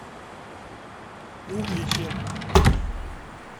угличе